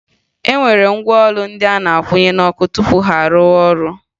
E nwere ngwa ụlọ ndị a na-akwụnye n'ọkụ tupu ha a rụọ ọrụ